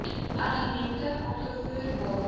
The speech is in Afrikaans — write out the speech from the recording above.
argumente aangevoer waarom